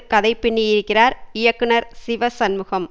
கதை பின்னியிருக்கிறார் இயக்குனர் சிவசண்முகன்